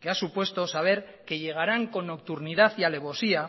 que ha supuesto saber que llegarán con nocturnidad y alevosía